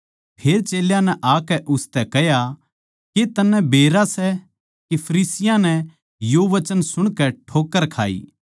फेर चेल्यां नै आकै उसतै कह्या के तन्नै बेरा सै के फरिसियाँ नै यो वचन सुणकै ठोक्कर खाई